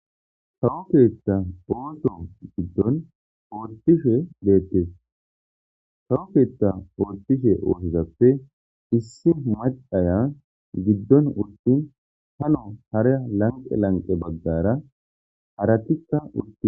Tawokeetta ooto giddon oortishe deettes tawokeetta oottishe ootezappe issi macaya giddon urtin hano haraa lanqe lanqe baggara haratika utti.